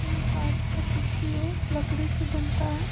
ये काठ का कुर्सी है लकड़ी से बनता है।